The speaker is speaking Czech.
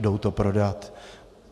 Jdou to prodat.